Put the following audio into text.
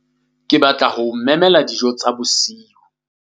Ke batla ho o memela dijo tsa bosiu.